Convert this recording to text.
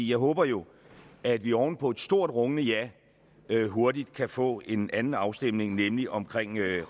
jeg håber jo at vi oven på et stort rungende ja hurtigt kan få en anden afstemning nemlig om